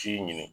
Ci ɲini